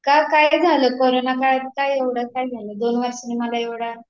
का काय झालं, करोना काळात काय एवढं काय झालं दोन वर्षांनी मला एवढा कॉल केलास तू